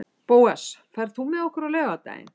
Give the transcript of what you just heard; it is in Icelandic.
Bóas, ferð þú með okkur á laugardaginn?